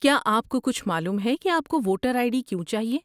کیا آپ کو کچھ معلوم ہے کہ آپ کو ووٹر آئی ڈی کیوں چاہیے؟